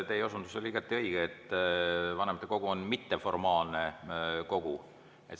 Teie osundus oli igati õige, et vanematekogu on mitteformaalne kogu.